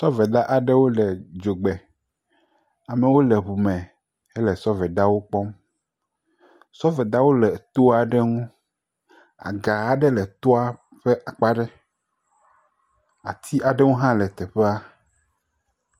Sɔveda aɖewo le dzogbe. Amewo le ŋu me ele sɔvedawo kpɔm. Sɔvedawo le to aɖe ŋu. Aga aɖe le toa ƒe akpa ɖe. Ati aɖewo hã le teƒea.